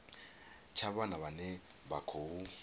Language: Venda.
tsha vhana vhane vha khou